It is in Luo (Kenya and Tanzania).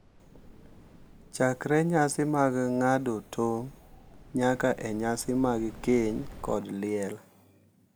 Chakre nyasi mag ng’ado tong' nyaka e nyasi mag keny kod liel,